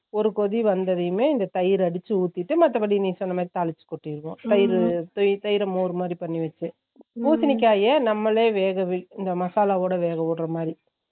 ஒரு கொதி வந்ததியுமே இந்த தயிர் அடிச்சு உத்திட்டு மத்தபடி நீ சொன்னா மாதிரி தாளிச்சு கொட்டிருவோம் தயிர்ரு அஹ் தயிர் மோர் மாதிரி பண்ணிவெச்சு பூசிணிக்கயா நம்மளே வெக இந்த மசாலா ஓட வெக உடுறா மாறி அதுலயும்இந்த பச்ச மொளக இஞ்சி வெங்கயத்த ரெண்டுமோன்னு சின்ன வெங்கயத்த